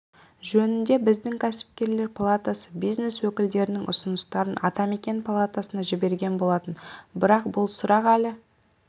жөнінде біздің кәсіпкерлер палатасы бизнес өкілдерінің ұсыныстарын атамекен палатасына жіберген болатын бірақ бұл сұрақ әлі